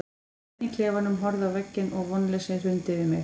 Ég stóð einn eftir í klefanum, horfði á veggina og vonleysið hrundi yfir mig.